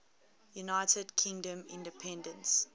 united kingdom independence